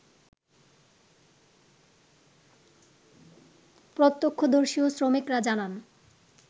প্রত্যক্ষদর্শী ও শ্রমিকরা জানান